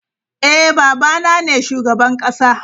Eh, Baba na ne shugaban kasa.